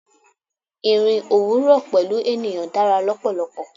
Ìrìn òwúrò pẹ̀lú ènìyàn dára lọ́pọ̀lọpọ̀.